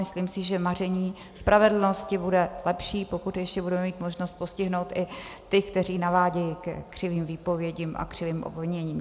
Myslím si, že maření spravedlnosti bude lepší, pokud ještě budeme mít možnost postihnout i ty, kteří navádějí ke křivým výpovědím a křivým obviněním.